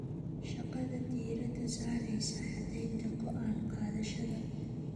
Shaqada diiradda saareysa caddaynta go'aan qaadashada.